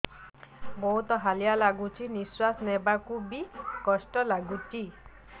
ବହୁତ୍ ହାଲିଆ ଲାଗୁଚି ନିଃଶ୍ବାସ ନେବାକୁ ଵି କଷ୍ଟ ଲାଗୁଚି